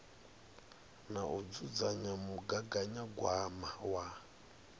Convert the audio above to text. na u dzudzanya mugaganyagwama wa